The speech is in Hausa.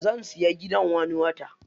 Zan siya gidan wani watan.